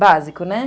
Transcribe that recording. Básico, né?